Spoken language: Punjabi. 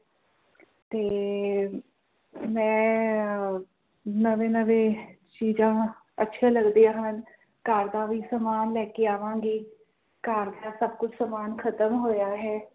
ਤੇ ਮੈਂ ਅਹ ਨਵੇਂ ਨਵੇਂ ਚੀਜਾਂ ਅੱਛੇ ਲੱਗਦੇ ਹਨ ਘਰ ਦਾ ਵੀ ਸਾਮਾਨ ਲੈ ਕੇ ਆਵਾਂਗੀ ਘਰ ਦਾ ਸਭ ਕੁਛ ਸਾਮਾਨ ਖ਼ਤਮ ਹੋਇਆ ਹੈ